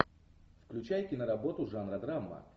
включай киноработу жанра драма